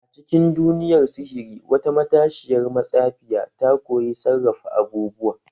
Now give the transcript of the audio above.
A cikin duniyar sihiri, wata matashiyar matsafiya ta koyi sarrafa abubuwa.